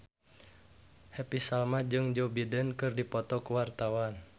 Happy Salma jeung Joe Biden keur dipoto ku wartawan